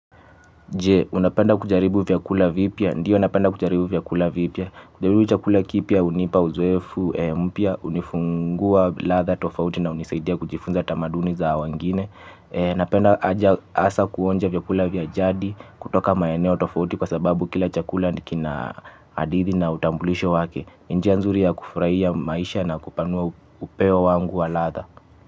Je, unapenda kujaribu vyakula vipya? Ndiyo napenda kujaribu vyakula vipia. Kujaribu chakula kipya hunipa uzoefu mpya hunifungua ladha tofauti na hunisaidia kujifunza tamaduni za wengine. Napenda hasa kuonja vyakula vya jadi, kutoka maeneo tofauti kwa sababu kila chakula kina hadithi na utambulisho wake. Njia nzuri ya kufurahia maisha na kupanua upeo wangu wa ladha.